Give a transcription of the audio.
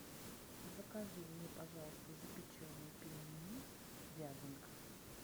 закажи мне пожалуйста запеченные пельмени вязанка